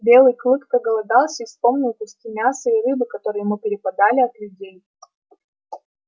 белый клык проголодался и вспомнил куски мяса и рыбы которые ему перепадали от людей